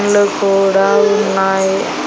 ఇల్లు కూడా ఉన్నాయి.